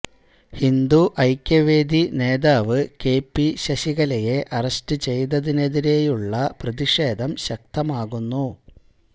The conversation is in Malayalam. ഹിന്ദു ഐക്യവേദി നേതാവ് കെ പി ശശികലയെ അറസ്റ്റു ചെയ്തതിനെതിരെയുള്ള പ്രതിഷേധം ശക്തമാകുന്നു